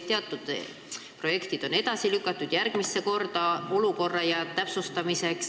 Teatud projektid on edasi lükatud järgmise korrani, selleks et olukorda täpsustada.